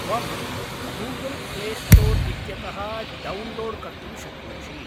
त्वं Google play store इत्यतः download कर्तुं शक्नोषि।